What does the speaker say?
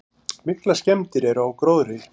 Miklar skemmdir eru á gróðri.